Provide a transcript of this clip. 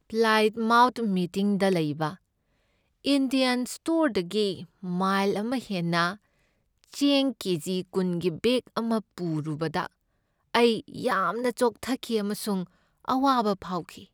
Plymouth ꯃꯤꯇꯤꯡꯗ ꯂꯩꯕ Indian ꯁ꯭ꯇꯣꯔꯗꯒꯤ ꯃꯥꯏꯜ ꯑꯃ ꯍꯦꯟꯅ ꯆꯦꯡ ꯀꯦ. ꯖꯤ. ꯀꯨꯟꯒꯤ ꯕꯦꯛ ꯑꯃ ꯄꯨꯔꯨꯕꯗ ꯑꯩ ꯌꯥꯝꯅ ꯆꯣꯛꯊꯈꯤ ꯑꯃꯁꯨꯡ ꯑꯋꯥꯕ ꯐꯥꯎꯈꯤ ꯫